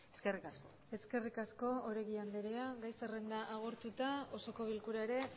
eskerrik asko eskerrik asko oregi andrea gai zerrenda agortuta osoko bilkura ere